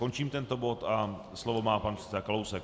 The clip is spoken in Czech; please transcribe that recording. Končím tento bod a slovo má pan předseda Kalousek.